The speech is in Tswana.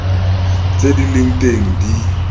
tse di leng teng di